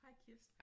Hej Kirsten